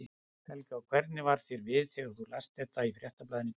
Helga: Og hvernig varð þér við þegar þú last þetta í Fréttablaðinu í dag?